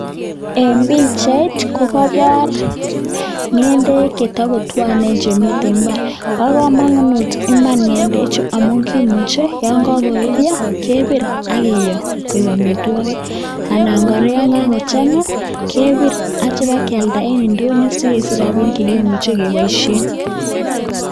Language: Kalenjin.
En pichait ko koibor ng'endek che togotwonen che miten mbar. Bo komonut iman ng'endechu amun kimuche yon kogoruryo kebir ak kiiyo koik amitwogik. Anan kora yon kagochang'a, kebir asi kiba kialda en ndonyo asi kesich rabinik che kimuche keboishen.